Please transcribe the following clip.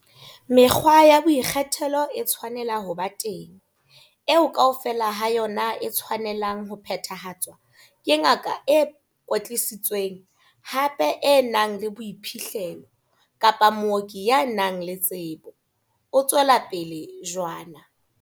Mekgwa ya boikgethelo e tshwanela ho ba teng, eo kaofela ha yona e tshwanelang ho phethahatswa ke ngaka e kwetlisitsweng, hape e nang le boiphihlelo, kapa mooki ya nang le tsebo, o tswela pele jwana.